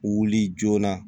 Wuli joona